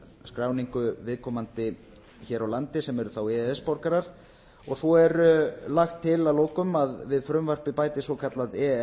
skráningu viðkomandi hér á landi sem eru þá e e s borgarar svo er lagt til að lokum að við frumvarpið bætist svokallað e e